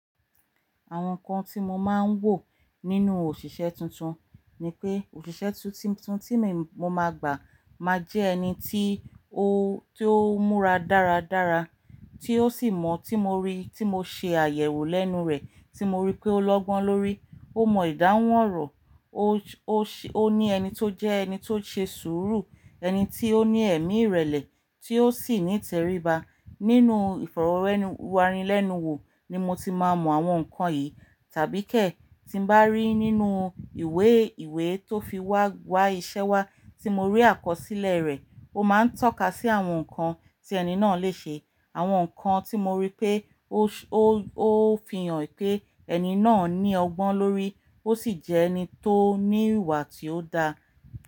Àwọn nǹkan tí mo máa ń wò nínú òṣìṣẹ́ tuntun ni pé òṣìṣẹ́ tuntun tí mo máa gbà máa jẹ ẹni tí ó múra dáradára, tí ó sì mọ tí mo rí, tí mo ṣe àyẹ̀wò lẹ́nu rẹ̀, tí mo rí pé ó lọ́gbọ́n lórí, ó mọ ìdáhùn ọ̀rọ̀, ó ní ẹni tó jẹ́ ẹni tó ṣe sùúrù, ẹni tí ó ní ẹ̀mí ìrẹ̀lẹ̀, tí ó sì ní ìtẹríba. Nínú ìfọ̀rọ̀wéranilẹ́nuwò ni mo ti máa mọ àwọn nǹkan yìí, tàbí kè tí ń bá rí nínú ìwé ìwé tó fi wa iṣẹ́ wa tí mo rí àkọsílẹ̀ rẹ̀, ó máa ń tọ́ka sí àwọn nǹkan tí ẹni náà lè ṣe, àwọn nǹkan tí mo rí pé ó fi hàn pé ẹni náà ní ọgbọ́n lórí, ó sì jẹ́ ẹni tó ní ìwà tí ó da.